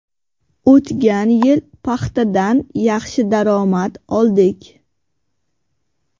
O‘tgan yil paxtadan yaxshi daromad oldik.